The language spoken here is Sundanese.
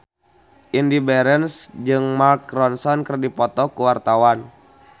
Indy Barens jeung Mark Ronson keur dipoto ku wartawan